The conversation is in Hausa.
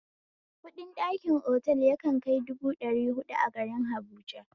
Kuɗin ɗakin otal yakan kai dubu ɗari huɗu a garin habuja